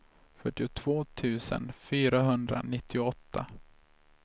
fyrtiotvå tusen fyrahundranittioåtta